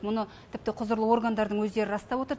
мұны тіпті құзырлы органдардың өздері растап отыр